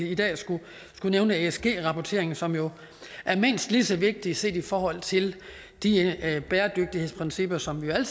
i dag skal nævne esg rapportering som jo er mindst lige så vigtigt set i forhold til de bæredygtighedsprincipper som vi jo